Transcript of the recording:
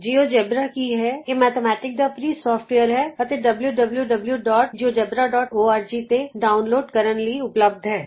GeoGebra ਕੀ ਹੈ ਇਹ ਅੰਕਗਣਿਤ ਦਾ ਮੁਫਤ ਸੋਫਟਵੇਅਰ ਹੈ ਅਤੇ W W W dot GeoGebra dot org wwwgeogebraਓਰਗ ਤੋਂ ਡਾਉਨਲੋਡ ਕਰਨ ਲਈ ਉਪਲਭਦ ਹੈ